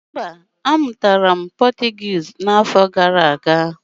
Mba, a mụrụ